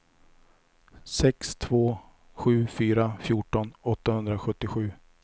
sex två sju fyra fjorton åttahundrasjuttiosju